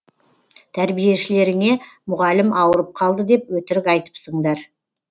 тәрбиешілеріңе мұғалім ауырып қалды деп өтірік айтыпсыңдар